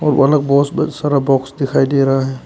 बहुत सारा बॉक्स दिखाई दे रहा है।